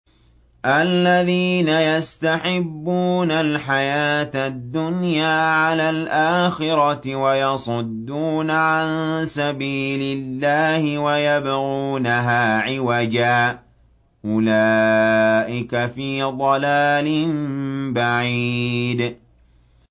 الَّذِينَ يَسْتَحِبُّونَ الْحَيَاةَ الدُّنْيَا عَلَى الْآخِرَةِ وَيَصُدُّونَ عَن سَبِيلِ اللَّهِ وَيَبْغُونَهَا عِوَجًا ۚ أُولَٰئِكَ فِي ضَلَالٍ بَعِيدٍ